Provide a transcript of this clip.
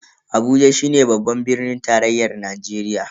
Abuja shine babban birnin tarayyan Najeriya.